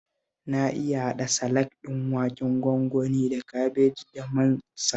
Na iya haɗa salak ɗin waken gwangwani da kabeji da man salak